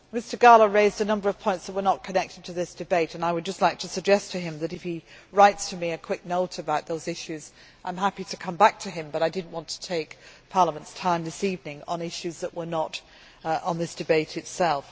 Mr Gahler raised a number of points which were not connected to this debate and I would just like to suggest to him that if he writes me a quick note about those issues I am happy to come back to him, but I did not want to take Parliament's time this evening on issues that were not on this debate itself.